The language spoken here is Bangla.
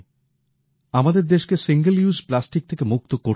আমাদের দেশকে সিঙ্গল ইউজ প্লাস্টিক থেকে মুক্ত করতেই হবে